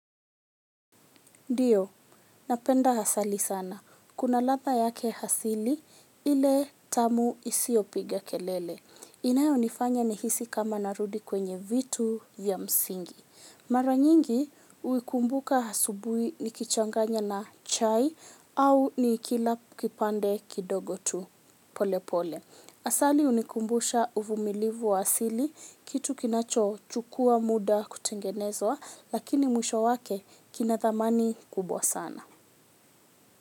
Ndiyo, napenda hasali sana. Kuna latha yake hasili ile tamu isiopiga kelele. Inayo nifanya ni hisi kama narudi kwenye vitu ya msingi. Mara nyingi uikumbuka hasubui ni kichanganya na chai au ni ikila kipande kidogo tu pole pole. Asali unikumbusha uvumilivu wa asili, kitu kinacho chukua muda kutengenezwa, lakini mwisho wake kinathamani kubwa sana.